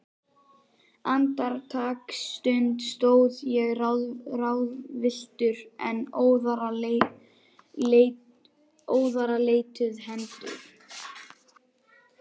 Andartaksstund stóð ég ráðvilltur, en óðara leituðu hendur